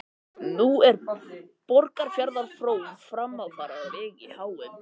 Nú er Borgarfjarðar frón framfara á vegi háum.